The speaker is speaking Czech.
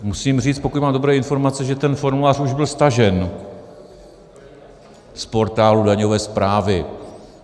Musím říct, pokud mám dobré informace, že ten formulář už byl stažen z portálu Daňové správy.